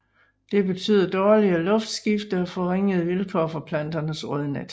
Det betyder dårligere luftskifte og forringede vilkår for planternes rodnet